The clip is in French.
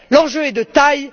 L'enjeu est de taille.